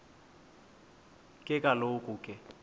ke kaloku ke